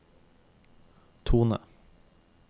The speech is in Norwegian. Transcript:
tone